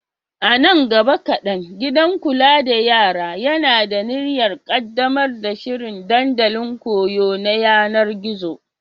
A nan gaba kaɗan, gidan kula da yara yana da niyyar ƙaddamar da shiri dandalin koyo na yanar gizo.